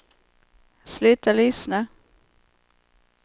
sluta lyssna